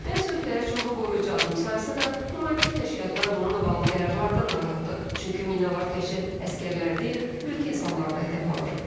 Bəzi ölkələr üçün bu qoruyucu addım sayılsa da, humanitar təşkilatlar bununla bağlı qərarlardan narahatdır, çünki minalar təkcə əsgərlər deyil, mülki insanlar da hədəf alır.